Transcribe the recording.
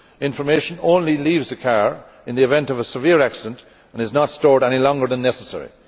Information only leaves the car in the event of a severe accident and is not stored any longer than necessary.